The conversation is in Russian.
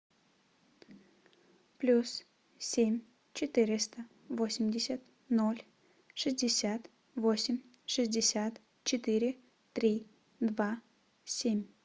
плюс семь четыреста восемьдесят ноль шестьдесят восемь шестьдесят четыре три два семь